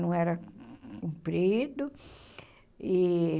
Não era comprido e.